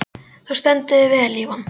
Þú stendur þig vel, Ívan!